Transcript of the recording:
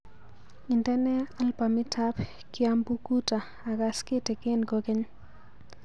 Indene albamitab kiambukuta agaas kitigin kogeny